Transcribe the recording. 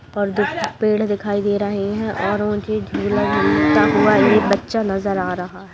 दो पेड़ दिखाई दे रहा है और मुझे झूला झूलता हुआ दो बच्चा नजर आ रहा है ।